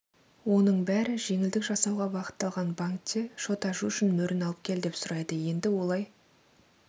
оның бәрі жеңілдік жасауға бағытталған банкте шот ашу үшін мөрін алып кел деп сұрайды енді олай